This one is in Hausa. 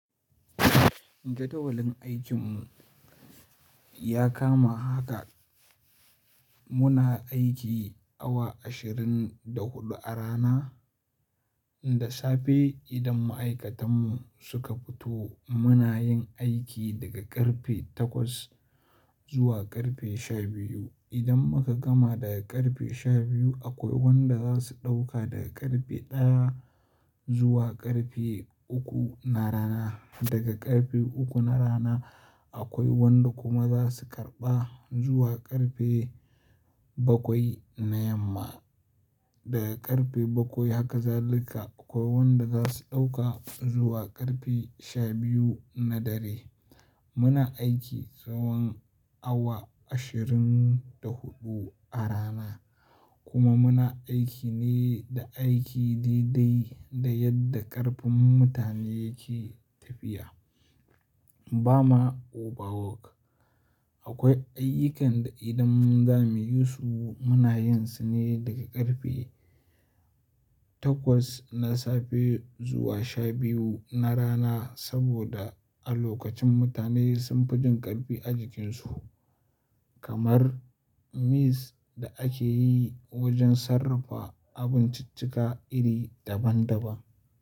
Jadawalin aikinmu ya kama haka. Muna aiki awa ashirin da huɗu a rana. Da safe idan ma'aikatanmu suka fito muna yin aiki daga ƙarfe takwas zuwa ƙarfe sha biyu. Idan muka gama daga ƙarfe sha biyu akwai wanda za su ɗauka daga ƙarfe ɗaya zuwa ƙarfe uku na rana. Daga ƙarfe uku na rana akwai wanda kuma za su karɓa zuwa ƙarfe bakwai na yamma. Daga ƙarfe bakwai haka zalika akwai wanda za su ɗauka zuwa ƙarfe sha biyu na dare. Muna aiki tsawan awa ashirin da huɗu a rana kuma muna aiki ne da aiki daidai da yadda ƙarfin mutane yake tafiya. Ba ma overwork. Akwai ayyukan da idan za mu yi su muna yin su ne daga ƙarfe takwas na safe zuwa sha biyu na rana saboda a lokacin mutane sun fi jin ƙarfi a jikinsu. Kamar mix da ake yi wajen sarrafa abinciccika iri daban daban.